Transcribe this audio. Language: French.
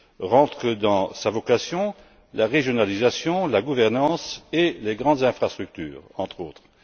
Rentrent dans sa vocation la régionalisation, la gouvernance et les grandes infrastructures, entre autres.